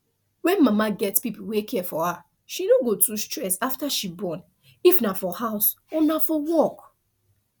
when mama get people wey care for her she no go too stress after she bornif na for house or na for work